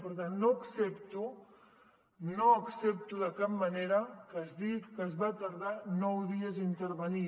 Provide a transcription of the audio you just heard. per tant no accepto de cap manera que es digui que es va tardar nou dies a intervenir